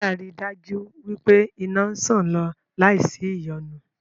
Wáyà ri dájú wí pé iná ń ṣàn lọ láì sí ìyọnu